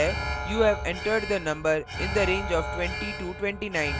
you have entered the number in the range of 2029